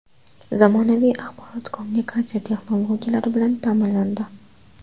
Zamonaviy axborot kommunikatsiya texnologiyalari bilan ta’minlandi.